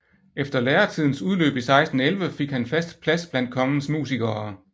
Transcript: Efter læretidens udløb i 1611 fik han fast plads blandt kongens musikere